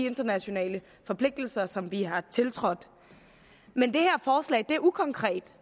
internationale forpligtelser som vi har tiltrådt men det her forslag er ukonkret